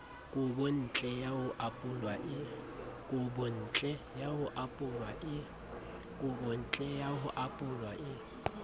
kobontle ya ho apolwa e